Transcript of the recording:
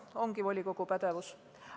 See ongi volikogu pädevuses.